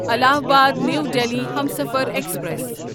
Allahabad new Delhi Humsafar express